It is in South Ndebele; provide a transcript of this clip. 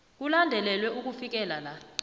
kulandelelwe ukufikela la